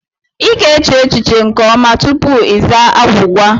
I ga-eche echiche nke ọma tupu izaa agwụgwa.